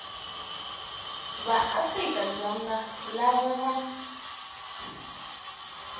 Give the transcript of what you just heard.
va afrika dzonga lava va